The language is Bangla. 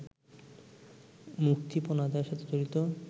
মুক্তিপণ আদায়ের সাথে জড়িত